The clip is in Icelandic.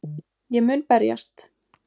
Ég mun berjast.